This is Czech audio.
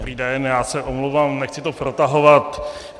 Dobrý den, já se omlouvám, nechci to protahovat.